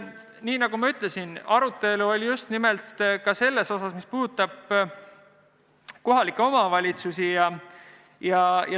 Nii nagu ma ütlesin, arutelu oli ka selle üle, mis puudutab kohalikke omavalitsusi.